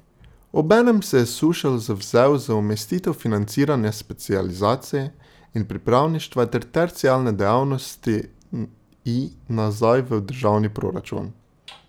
Obenem se je Sušelj zavzel za umestitev financiranja specializacij in pripravništva ter terciarne dejavnosti I nazaj v državni proračun.